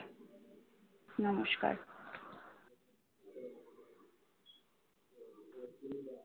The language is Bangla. নমস্কার।